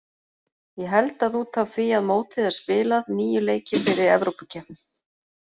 Ég held að út af því að mótið er spilað, níu leikir fyrir Evrópukeppni.